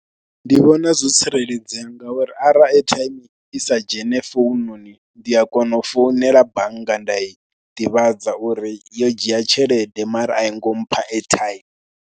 Ndi vhona zwo tsireledzea ngauri arali airtime i sa dzhene founnoni ndi a kona u founela bannga nda i ḓivhadza uri yo dzhia tshelede mara a i ngo mpha airtime.